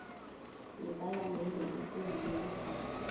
yepalamende ekulu namkha